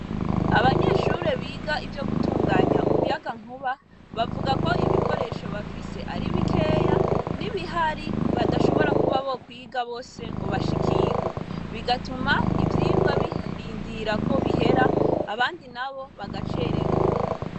Abanyeshure biga ivyo gutunganya umuyagankuba bavuga ko ibikoresho bafise ari bikeya n'ibihari badashobora kuba bokwiga bose ngo bashikirwe bigatuma ivyirwa birindira ko bihera abandi nabo bagacererwa.